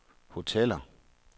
hoteller